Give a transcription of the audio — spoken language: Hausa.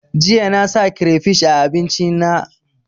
Jiya na sa kirefish a abincin na